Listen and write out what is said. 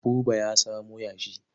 Buba ya samo yashi.